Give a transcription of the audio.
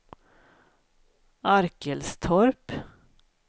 Arkelstorp